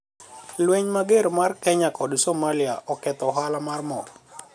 lweny mager mar kenya kod somalia oketho ohala mar mo